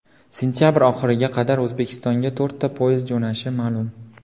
Sentabr oxiriga qadar O‘zbekistonga to‘rtta poyezd jo‘nashi ma’lum.